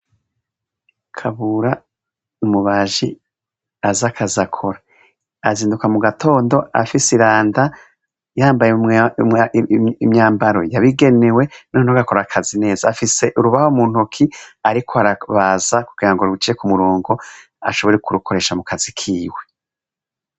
Kabura, umubaji azi akazi akora. Azinduka mu gatondo afise iranga, yambaye imyambaro yabigenewe, noneho akora akazi neza. Afise urubaho mu ntoke ariko arabaza kugirango ruje ku murongo, ashobore kurukoresha mu kazi kiwe.